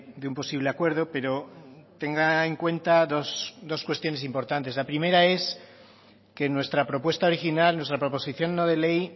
de un posible acuerdo pero tenga en cuenta dos cuestiones importantes la primera es que en nuestra propuesta original nuestra proposición no de ley